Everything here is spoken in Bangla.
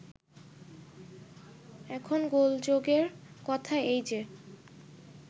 এখন গোলযোগের কথা এই যে